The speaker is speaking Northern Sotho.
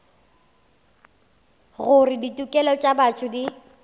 gore ditokelo tša botho di